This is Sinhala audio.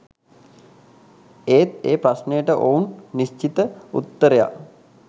ඒත් ඒ ප්‍රශ්නයට ඔවුන් නිශ්චිත උත්තරයක්